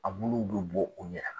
A buluw bi bɔ u yɛrɛ